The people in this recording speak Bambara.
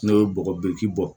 N'o ye bɔgɔ b'i bɔ